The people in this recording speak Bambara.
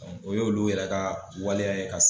o yo olu yɛrɛ ka waleya ye ka